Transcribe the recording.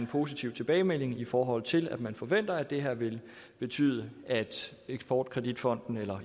positiv tilbagemelding i forhold til at man forventer at det her vil betyde at eksport kredit fonden eller